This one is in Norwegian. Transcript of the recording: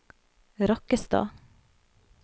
Rakkestad